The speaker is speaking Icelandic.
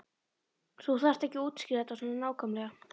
Þú þarft ekki að útskýra þetta svona nákvæmlega.